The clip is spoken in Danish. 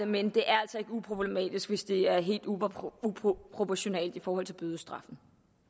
men det er altså ikke uproblematisk hvis det er helt uproportionalt i forhold til bødestraffen